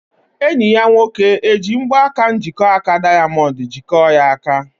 Enyi ya nwoke eji mgbaka njikọaka dayamondu jikọọ ya aka?